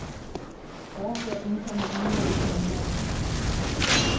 Overfør indkomne e-mail til indbakken.